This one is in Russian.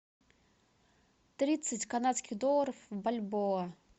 тридцать канадских долларов в бальбоа